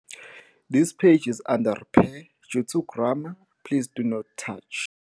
this page is under repair, due to grammar pls do not touch